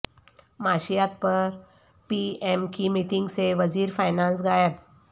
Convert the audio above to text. معاشیات پرپی ایم کی میٹنگ سے وزیر فینانس غائب